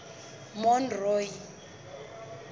monroe